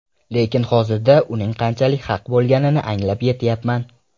Lekin hozirda uning qanchalik haq bo‘lganini anglab yetyapman.